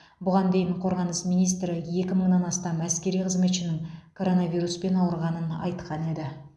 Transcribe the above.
бұған дейін қорғаныс министрі екі мыңнан астам әскери қызметшінің коронавируспен ауырғанын айтқан еді